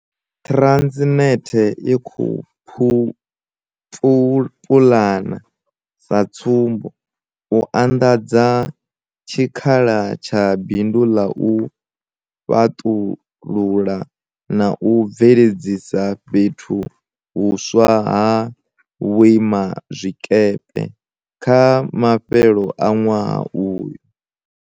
Transnet i khou pulana, sa tsumbo, u anḓadza tshikhala tsha bindu ḽa u fhaṱulula na u bveledzisa fhethu huswa ha vhuima zwikepe kha mafhelo a ṅwaha uyu.